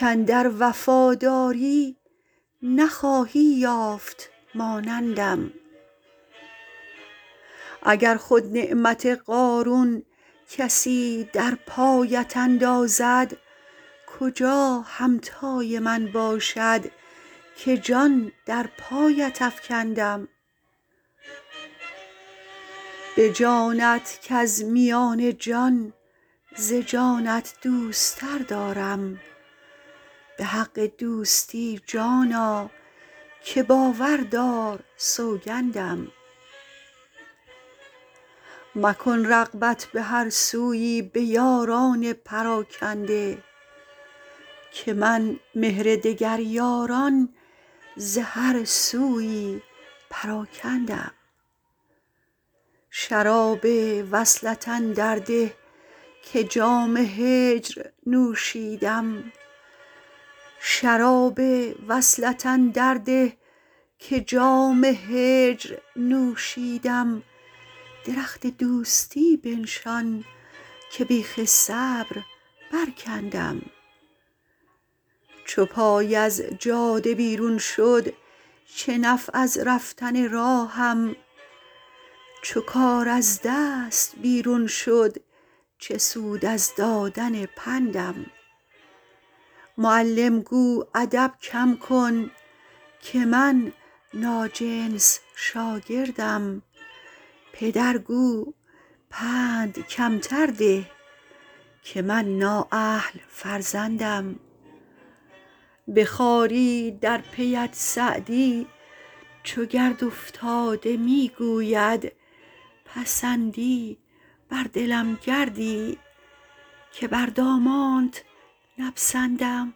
کاندر وفاداری نخواهی یافت مانندم اگر خود نعمت قارون کسی در پایت اندازد کجا همتای من باشد که جان در پایت افکندم به جانت کز میان جان ز جانت دوست تر دارم به حق دوستی جانا که باور دار سوگندم مکن رغبت به هر سویی به یاران پراکنده که من مهر دگر یاران ز هر سویی پراکندم شراب وصلت اندر ده که جام هجر نوشیدم درخت دوستی بنشان که بیخ صبر برکندم چو پای از جاده بیرون شد چه نفع از رفتن راهم چو کار از دست بیرون شد چه سود از دادن پندم معلم گو ادب کم کن که من ناجنس شاگردم پدر گو پند کمتر ده که من نااهل فرزندم به خواری در پی ات سعدی چو گرد افتاده می گوید پسندی بر دلم گردی که بر دامانت نپسندم